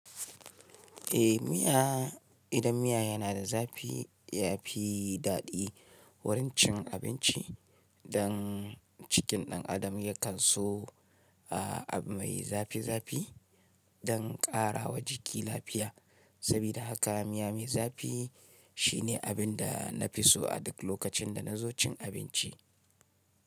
Eh miya, idan miya yana da zafi yafi daɗi wurin cin abinci. Dan cikin ɗan adam yakan so abu mai zafi zafi dan ƙara wa jiki lafiya. Sabida haka miya mai zafi shine abinda nafi so a duk lokacin da nazo cin abinci.